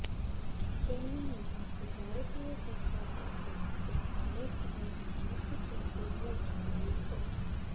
તેમના નિધનથી ભારતીય જનતા પાર્ટીએ એક સંનિષ્ઠ અને સમર્પિત નેતૃત્વ ગુમાવ્યુ છે